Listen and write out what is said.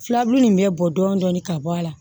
Filaburu in bɛ bɔ dɔɔnin dɔɔnin ka bɔ a la